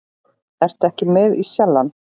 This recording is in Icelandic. Ertu ekki með í Sjallann?